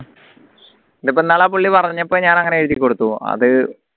ഇതിപ്പോ ഇന്നാള് ആ പുള്ളി പറഞ്ഞപ്പോ ഞാൻ അങ്ങനെ എഴുതി കൊടുത്തു അത്